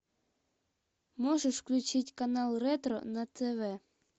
можешь включить канал ретро на тв